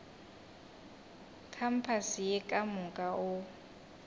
kampase ye ka moka o